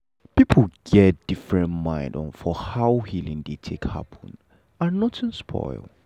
people get different mind for how healing dey take happen and nothing spoil.